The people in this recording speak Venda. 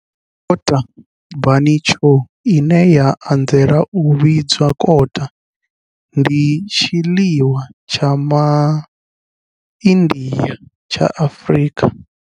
Kota bunny chow, ine ya anzela u vhidzwa kota, ndi tshiḽiwa tsha ma India tsha Afrika.